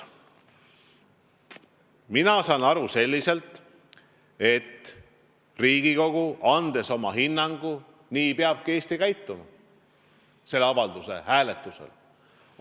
Mina saan aru, et kui Riigikogu annab oma hinnangu, siis nii peabki Eesti selle avalduse hääletusel käituma.